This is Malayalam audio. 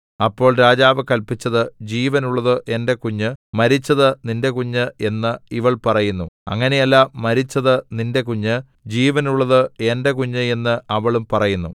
അപ്പോൾ രാജാവ് കല്പിച്ചത് ജീവനുള്ളത് എന്റെ കുഞ്ഞ് മരിച്ചത് നിന്റെ കുഞ്ഞ് എന്ന് ഇവൾ പറയുന്നു അങ്ങനെയല്ല മരിച്ചത് നിന്റെ കുഞ്ഞ് ജീവനുള്ളത് എന്റെ കുഞ്ഞ് എന്ന് അവളും പറയുന്നു